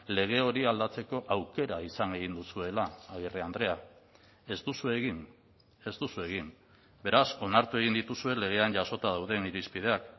lege hori aldatzeko aukera izan egin duzuela agirre andrea ez duzue egin ez duzue egin beraz onartu egin dituzue legean jasota dauden irizpideak